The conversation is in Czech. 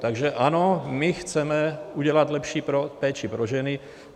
Takže ano, my chceme udělat lepší péči pro ženy.